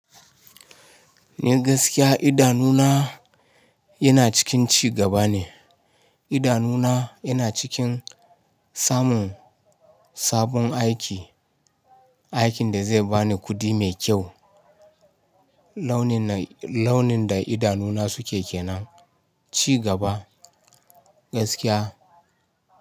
Ni gaskiya idanuna yana cikin ci gaba ne, idanuna yana cikin samun sabon aiki, aikin da zai bani kuɗi mai kyau, launin da idanuna suke kenan, ci gaba gaskiya.